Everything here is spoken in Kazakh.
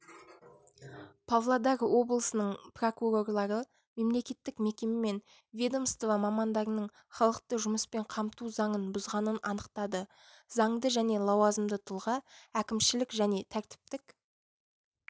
павлодар облысының прокурорлары мемлекеттік мекеме мен ведомство мамандарының халықты жұмыспен қамту заңын бұзғанын анықтады заңды және лауазымды тұлға әкімшілік және тәртіптік